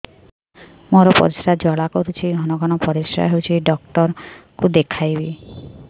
ମୋର ପରିଶ୍ରା ଜ୍ୱାଳା କରୁଛି ଘନ ଘନ ପରିଶ୍ରା ହେଉଛି ଡକ୍ଟର କୁ ଦେଖାଇବି